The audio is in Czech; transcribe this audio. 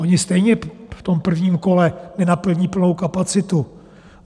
Ony stejně v tom prvním kole nenaplní plnou kapacitu.